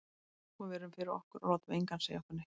Sko við erum fyrir okkur, og látum engan segja okkur neitt.